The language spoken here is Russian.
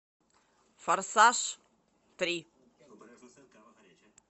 форсаж три